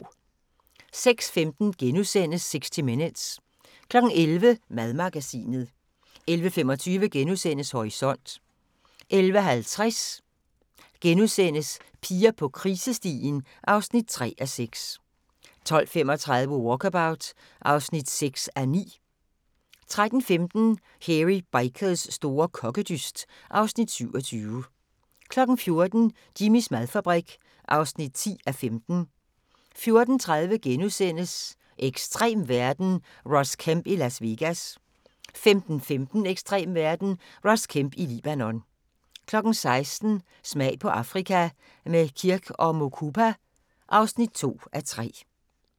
06:15: 60 Minutes * 11:00: Madmagasinet 11:25: Horisont * 11:50: Piger på krisestien (3:6)* 12:35: Walkabout (6:9) 13:15: Hairy Bikers store kokkedyst (Afs. 27) 14:00: Jimmys madfabrik (10:15) 14:30: Ekstrem verden – Ross Kemp i Las Vegas * 15:15: Ekstrem verden – Ross Kemp i Libanon 16:00: Smag på Afrika – med Kirk & Mukupa (2:3)